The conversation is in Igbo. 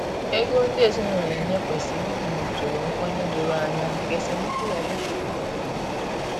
Ego ndị ezinụlọ na enye kwesịrị ịdị n’usoro nkwenye doro anya, ka esemokwu ghara ịpụta n’ọdịnihu